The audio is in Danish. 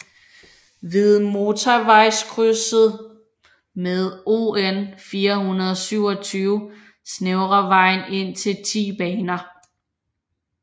Ved motorvejskrydset med ON 427 snævrer vejen ind til 10 baner